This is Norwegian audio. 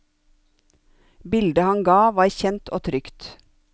Bildet han ga var kjent og trygt.